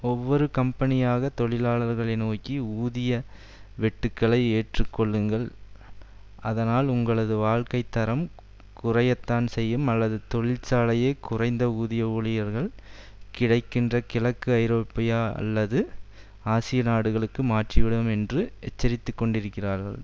ஒவ்வொரு கம்பெனியாக தொழிலாளர்களை நோக்கி ஊதிய வெட்டுக்களை ஏற்றுக்கொள்ளுங்கள் அதனால் உங்களது வாழ்க்கை தரம் குறையத்தான் செய்யும் அல்லது தொழிற்சாலையே குறைந்த ஊதிய ஊழியர்கள் கிடைக்கின்ற கிழக்கு ஐரோப்பா அல்லது ஆசிய நாடுகளுக்கு மாற்றிவிடுவோம் என்று எச்சரித்துக்கொண்டிருக்கிறார்கள்